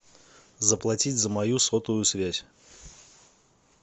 заплатить за мою сотовую связь